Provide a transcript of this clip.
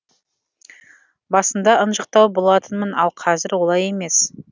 басында ынжықтау болатынмын ал қазір олай емес